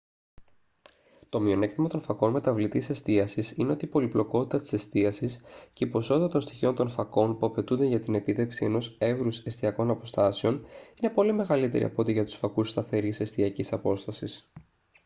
το μειονέκτημα των φακών μεταβλητής εστίασης είναι ότι η πολυπλοκότητα της εστίασης και η ποσότητα των στοιχείων των φακών που απαιτούνται για την επίτευξη ενός εύρους εστιακών αποστάσεων είναι πολύ μεγαλύτερη από ό,τι για τους φακούς σταθερής εστιακής απόστασης